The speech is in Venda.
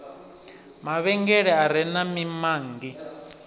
mavhengele a re na mimanngi